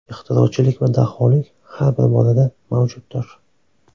Ixtirochilik va daholik xar bir bolada mavjuddir.